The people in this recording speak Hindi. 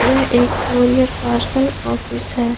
यह एक कुरियर पार्सल ऑफिस है।